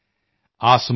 ਘਨੇ ਬਾਦਲੋਂ ਕੋ ਚੀਰ ਕਰ